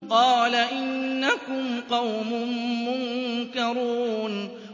قَالَ إِنَّكُمْ قَوْمٌ مُّنكَرُونَ